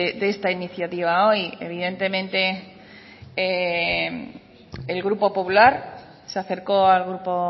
de esta iniciativa hoy evidentemente el grupo popular se acercó al grupo